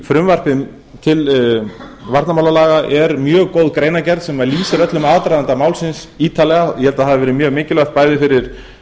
frumvarpi til varnarmálalaga er mjög góð greinargerð sem lýsir öllum aðdraganda málsins ítarlega ég held að það hafi verið mjög mikilvægt bæði fyrir